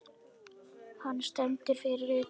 Hann stendur fyrir utan.